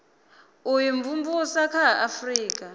u imvumvusa kha a afurika